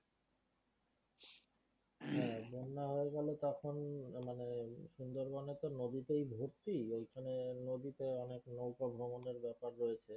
হ্যাঁ বন্যা হয়ে গেলে তখন মানে সুন্দরবন এ তো নদীতেই ভর্তি ঐখানে নদীতে অনেক নৌকা ভ্রমণের ব্যাপার রয়েছে